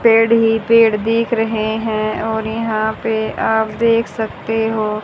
पेड़ ही पेड़ दिख रहे हैं और यहां पे आप देख सकते हो--